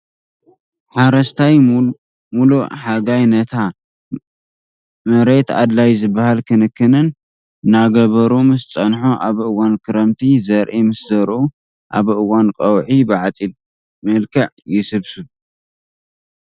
ሓረስታይ ሙእ ሓጋይ ነቲ መሬት ኣድላይ ዝብሃል ክንክንእናገበሩ ምስ ፀንሑ ኣብ እዋን ክረምቲ ዘርኢ ምስ ዘርኡ ኣብ እዋን ቀውዒ ብዓፅድ መልክዕ ይስብሰብ።